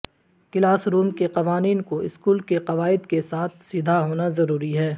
class room کے قوانین کو اسکول کے قواعد کے ساتھ سیدھا ہونا ضروری ہے